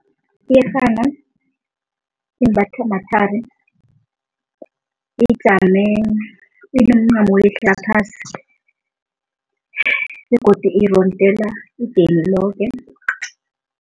Iyerhana imbathwa mathari, ijame inomncamo owehla phasi begodu irondela idini loke.